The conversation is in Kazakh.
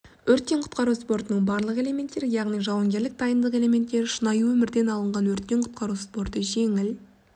өрттен құтқару спортының барлық элементтері яғни жауынгерлік дайындық элементтері шынайы өмірден алынған өрттен құтқару спорты жеңіл